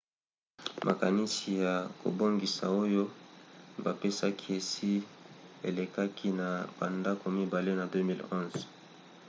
makanisi ya kobongisa oyo bapesaki esi elekaki na bandako mibale na 2011